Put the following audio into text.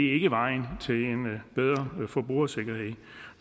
ikke vejen til en bedre forbrugersikkerhed